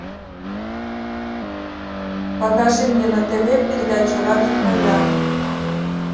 покажи мне на тв передачу радость моя